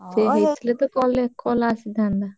ହେଇଥିଲେ ତ call ଆସିଥାନ୍ତା।